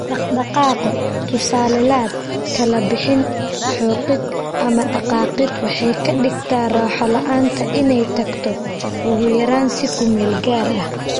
Dhaqdhaqaaqa (tusaale laad, kala bixin, xoqid, ama dhaqaaqid) waxay ka dhigtaa raaxo la'aanta inay tagto, ugu yaraan si ku meel gaar ah.